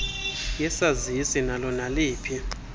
yesazisi nalo naliphi